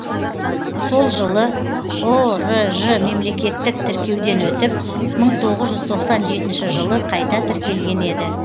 сол жылы ұрж мемлекеттік тіркеуден өтіп жылы қайта тіркелген еді